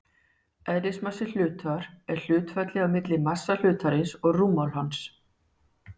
Eðlismassi hlutar er hlutfallið á milli massa hlutarins og rúmmáls hans.